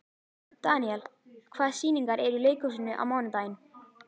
Daniel, hvaða sýningar eru í leikhúsinu á mánudaginn?